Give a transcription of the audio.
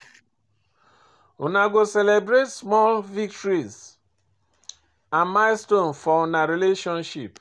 Una go celebrate small victories and milestone for una relationship.